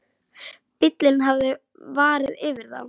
Bíllinn hafði farið yfir það.